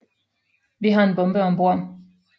Vi har en bombe om bord